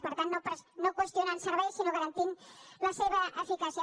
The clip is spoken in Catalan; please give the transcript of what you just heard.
per tant no qüestionant serveis sinó garantint la seva eficàcia